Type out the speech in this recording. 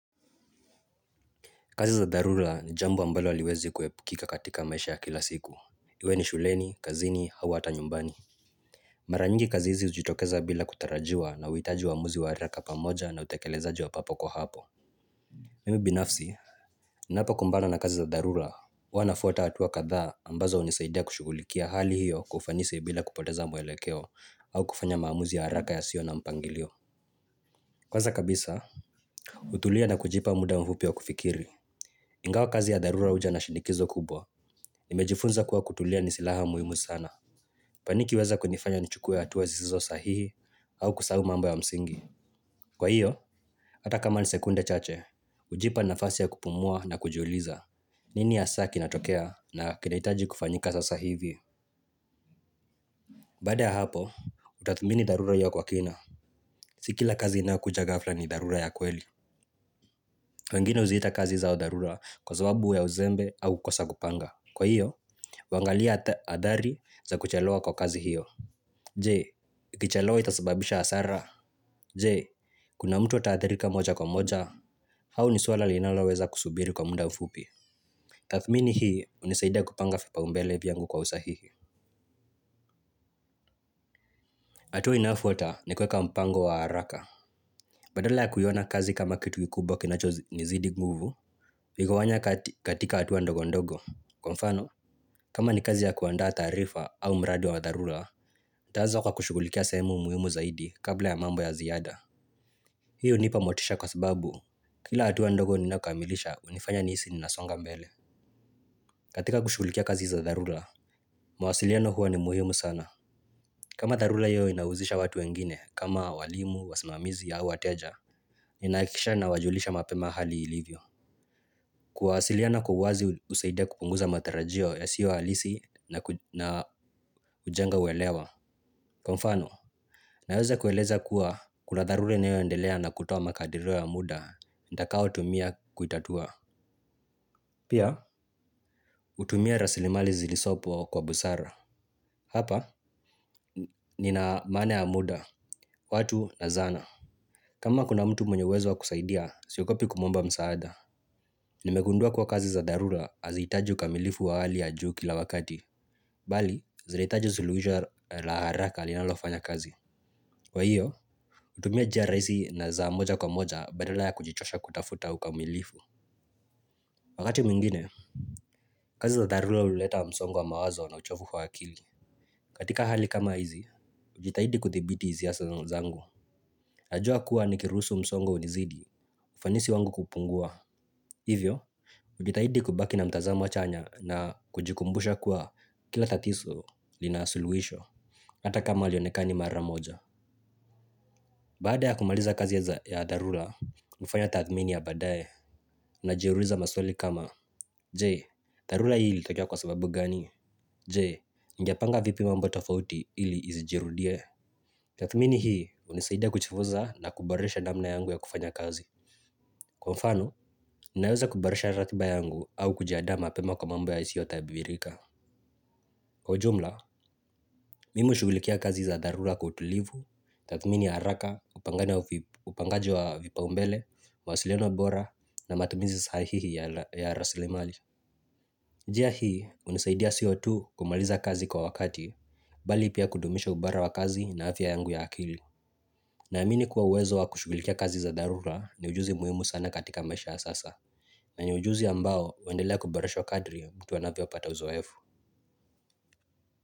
Kazi za dharula ni jambo ambalo aliwezi kuhepikika katika maisha ya kila siku. Iwe ni shuleni, kazini, hawa hata nyumbani. Mara nyingi kazi hizi ujitokeza bila kutarajiwa na uhitaji wa amuzi wa araka pamoja na utekelezaaji wa papo kwa hapo. Mimi binafsi. Napa kumbana na kazi za dharula huwa nafuata atuwa katha ambazo unisaidia kushukulikia hali hiyo kwa ufanisi bila kupoteza mwelekeo au kufanya maamuzi ya araka ya sio na mpangilio kwanza kabisa hutulia na kujipa muda mfupi wa kufikiri. Ingawa kazi ya darura uja na shinikizo kubwa nimejifunza kuwa kutulia ni silaha muhimu. Paniki weza kunifanya nchukue hatuwe zizizo sahihi. Au kusau mambo ya msingi. Kwa hiyo, ata kama ni sekunde chache ujipa nafasi ya kupumua na kujuliza. Nini ha saki natokea na kinaitaji kufanyika sasa hivi. Bada ya hapo, utathmini darura iyo kwa kina. Sikila kazi ina kuja gafla ni darura ya kweli. Wengine uzita kazi zao darura kwa zababu ya uzembe au kosa kupanga. Kwa hiyo, wangalia adhari za kuchelewa kwa kazi hiyo. Jee, ikichelewa itasababisha asara. Jee, kuna mtu atahathirika moja kwa moja. Hau ni suala linaloweza kusubiri kwa munda ufupi. Tathmini hii, unisaida kupanga fipa umbele viyangu kwa usahihi. Atua inafuata ni kweka mpango wa haraka. Badala ya kuyiona kazi kama kitu kikubo kinacho ni zidi nguvu. Vigowanya katika atuwa ndogo ndogo. Kwa mfano, kama ni kazi ya kuanda tarifa au mradi wa darula. Taaza kwa kushukulikia semu muhimu zaidi kabla ya mambo ya ziyada. Hiyo unipa motisha kwa sababu kila hatuwa ndogo ninaukamilisha unifanya nisi ninasonga mbele. Katika kushukulikia kazi za darula mwasiliano huwa ni muhimu sana. Kama darula hiyo inauzisha watu wengine kama walimu, wasimamizi au wateja. Ninahikisha na wajulisha mapema hali ilivyo. Kwasiliano kuhuazi usaidia kupunguza matarajio ya siyo halisi na ujenga uwelewa. Kwa mfano, na yoza kueleza kuwa kula darura ina yoendelea na kutowa makadiro ya muda, ndakao utumia kuitatua. Pia, utumia rasilimali zilisopo kwa busara. Hapa, nina mana ya muda, watu na zana. Kama kuna mtu mwenye uwezo wa kusaidia, siokopi kumomba msaada. Nimegundua kuwa kazi za dharula hazitaji ukamilifu wa hali ya juu kila wakati. Bali, zinaitaji zuluhisho la haraka linalofanya kazi. Kwa hiyo, utumia jia rahizi na za moja kwa moja badala ya kujichosha kutafuta uka umilifu. Wakati mingine, kazi za darula uleta wa msongo wa mawazo na uchofu kwa hakili. Katika hali kama hizi, ujitahidi kuthibiti iziasa zangu najua kuwa nikirusu msongo unizidi, ufanisi wangu kupungua. Hivyo, ujitahidi kubaki na mtazamo chanya na kujikumbusha kuwa kila tatiso linaasuluisho hata kama halionekani mara moja baada ya kumaliza kazi za darula hufanya tathmini ya baadaye najiuliza maswali kama je darula hii ilitokea kwa sababu gani. Je, ningepanga vipi mamboto fauti ili izijirudie? Tatmini hii unisaida kuchifuza na kuborisha namna yangu ya kufanya kazi. Kwa mfano, ninaweza kuborisha ratiba yangu au kujiada ma pema kwa mambo yaisiyota ya bibirika. Kwa jumla, mimi ushugulikia kazi za darula kwa utulivu, tatmini ya haraka, upangaji wa vipa umbele wasiliano bora na matumizi sahihihi ya rasili mali. Jia hii unisaidia siotu kumaliza kazi kwa wakati bali pia kudumisha ubara wa kazi na afya yangu ya akili. Na amini kuwa uwezo wa kushugulikia kazi za darula ni ujuzi muhimu sana katika maisha ya sasa na yenye ujuzi ambao wendelea kuboreshwa kadri mtu anafyo pata uzoefu.